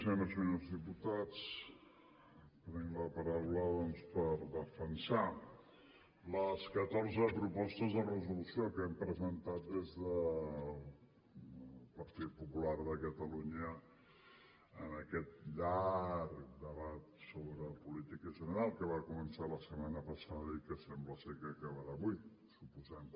senyores i senyors diputats prenc la paraula doncs per defensar les catorze propostes de resolució que hem presentat des del partit popular de catalunya en aquest llarg debat sobre política general que va començar la setmana passada i que sembla ser que acabarà avui suposem